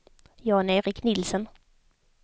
Jan-Erik Nielsen